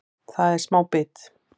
Það er smá bit